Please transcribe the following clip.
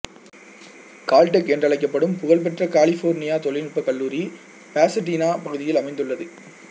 Caltech என்றழைக்கப்படும் புகழ்பெற்ற California தொழில்நுட்பக் கல்லூரி பாசடீனா பகுதியில் அமைந்துள்ளது